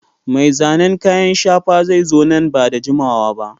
Mai zanen kayan shafa zai zo nan ba da jimawa ba.